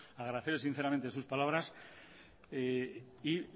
agradecerle sinceramente sus palabras y